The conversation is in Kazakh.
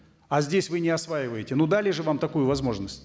а здесь вы не осваиваете ну дали же вам такую возможность